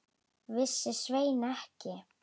Vissi Svenni ekki?